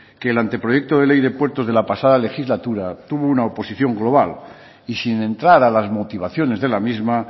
que el anteproyecto de ley de puertos de la pasada legislatura tuvo una oposición global y sin entrar a las motivaciones de la misma